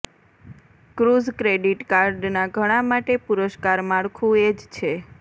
cruise credit કાર્ડના ઘણા માટે પુરસ્કાર માળખું એ જ છે